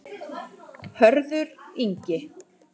Hörður Ingi.